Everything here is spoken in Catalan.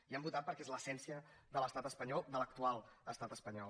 hi han votat perquè és l’essència de l’estat espanyol de l’actual estat espanyol